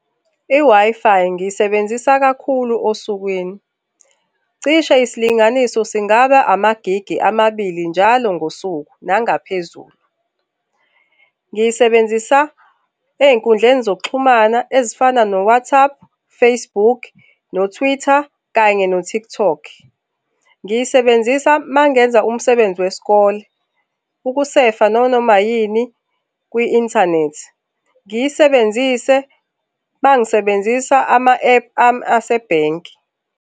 I-Wi-Fi ngiyisebenzisa kakhulu osukwini. Cishe isilinganiso singaba amagigi amabili njalo ngosuku nangaphezulu. Ngiyisebenzisa ezinkundleni zokuxhumana ezifana no-WhatsApp, Facebook, no-Twitter kanye no-TikTok. Ngiyisebenzisa uma ngenza umsebenzi wesikole, ukusefa nanoma yini kwi inthanethi. Ngiyisebenzise uma ngisebenzisa ama-ephu ami asebhenki.